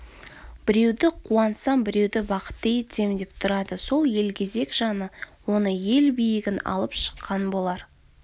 біреуді қуантсам біреуді бақытты етсем деп тұрады сол елгезек жаны оны ел биігін алып шыққан болар